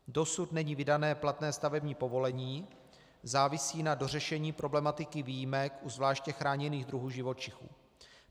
Dosud není vydané platné stavební povolení, závisí na dořešení problematiky výjimek u zvláště chráněných druhů živočichů.